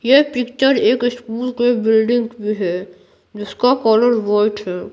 यह पिक्चर एक स्कूल के बिल्डिंग भी है जिसका कलर वाइट है।